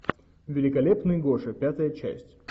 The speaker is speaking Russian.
великолепный гоша пятая часть